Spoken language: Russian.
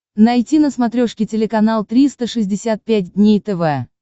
найти на смотрешке телеканал триста шестьдесят пять дней тв